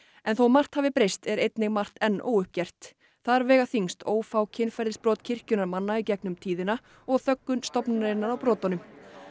en þótt margt hafi breyst er einnig margt enn óuppgert þar vega þyngst ófá kynferðisbrot kirkjunnar manna í gegnum tíðina og þöggun stofnunarinnar á brotunum